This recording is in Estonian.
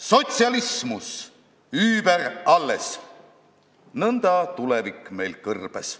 Sotsialismus über alles, nõnda tulevik meil kõrbes.